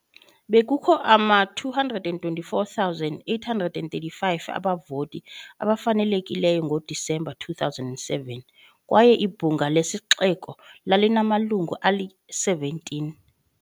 Bekukho ama-224,835 abavoti abafanelekileyo ngoDisemba 2007 kwaye ibhunga lesixeko lalinamalungu ali-17.